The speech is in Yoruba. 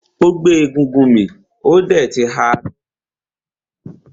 Ó gbé egúngún mì ó dẹ̀ ti ha lọ́fun.